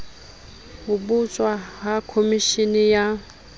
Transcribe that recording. ho botjwa ha komeshene ya